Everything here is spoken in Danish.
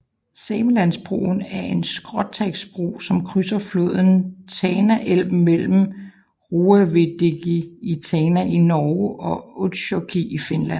Samelandsbroen er en skråstagsbro som krydser floden Tanaelv mellem Roavvegieddi i Tana i Norge og Utsjoki i Finland